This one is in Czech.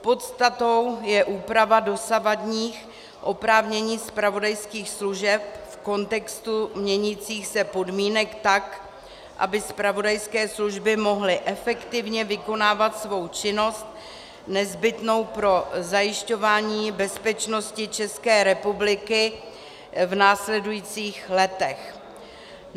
Podstatou je úprava dosavadních oprávnění zpravodajských služeb v kontextu měnících se podmínek tak, aby zpravodajské služby mohly efektivně vykonávat svou činnost nezbytnou pro zajišťování bezpečnosti České republiky v následujících letech.